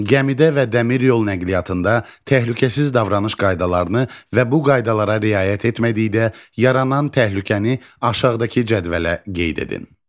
Gəmidə və dəmir yol nəqliyyatında təhlükəsiz davranış qaydalarını və bu qaydalara riayət etmədikdə yaranan təhlükəni aşağıdakı cədvələ qeyd edin.